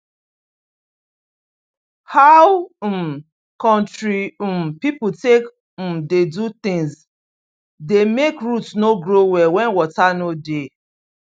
how um country um people take um dey do things dey make root no grow well when water no dey